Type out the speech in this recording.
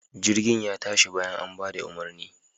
Jirgin ya tashi bayan an bada umarni.